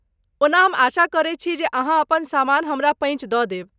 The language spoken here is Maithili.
ओना, हम आशा करैत छी जे अहाँ अपन सामान हमरा पैँच दऽ देब।